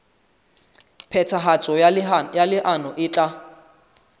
phethahatso ya leano e tla